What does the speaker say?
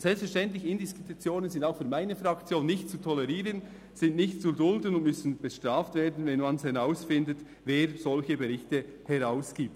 Selbstverständlich sind Indiskretionen auch für meine Fraktion nicht zu tolerieren, sie sind nicht zu dulden und müssen bestraft werden, wenn man herausfindet, wer solche Berichte herausgibt.